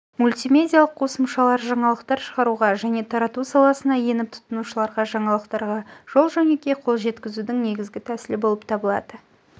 мультимедиалық қосымшалар жаңалықтар шығаруға және тарату саласына еніп тұтынушыларға жаңалықтарға жол-жөнекей қол жеткізудің негізгі тәсілі болып лады